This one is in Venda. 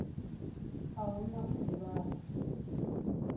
a hu na u ḓivhadzwa